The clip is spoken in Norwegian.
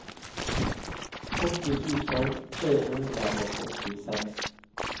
åtti tusen tre hundre og åttiseks